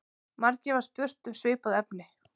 Margir hafa spurt um svipað efni.